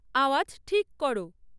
আওয়াজ ঠিক করো